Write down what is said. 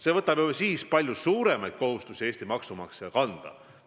See paneb ju siis palju suuremad kohustused Eesti maksumaksja kanda.